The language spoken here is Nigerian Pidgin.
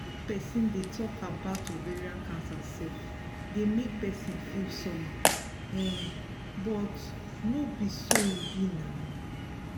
make persin dey talk about ovarian cancer sef dey make persin feel somehow um but no be so e be now